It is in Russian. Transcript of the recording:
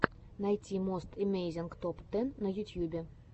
найти мост эмейзинг топ тэн на ютьюбе